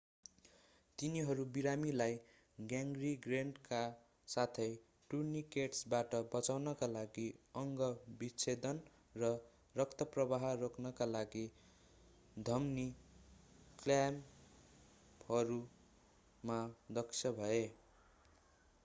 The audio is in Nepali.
तिनीहरू बिरामीलाई ग्याङ्ग्रिनका साथै टुर्नीकेट्सबाट बचाउनका लागि अंग विच्छेदन र रक्तप्रवाह रोक्नका लागि धमनी क्ल्याम्पहरूमा दक्ष भए